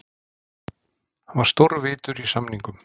Hann var stórvitur í samningum.